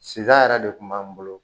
Sida yɛrɛ de tun b'an bolo